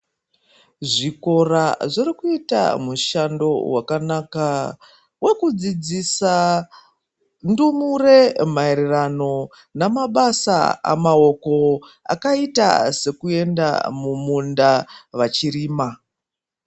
Zvikora zviri kuita mushando wakanaka wekudzidzisa ndumure maererano namabasa amaoko akaita sekuenda mumunda vachirima.